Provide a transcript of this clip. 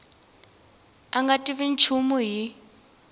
a nga tivi nchumu hi